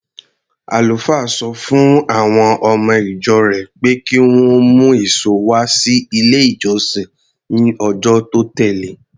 Àlùfáà sọ fún àwọn ọmọ-ìjọ rẹ̀ pé kí wọ́n mú èso wá sí ilé-ìjọsìn ní ọjọ́ tó tẹ̀le.